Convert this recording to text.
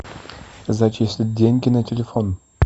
зачислить деньги на телефон